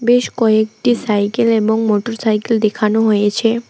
বেশ কয়েকটি সাইকেল এবং মোটর সাইকেল দেখানো হয়েছে।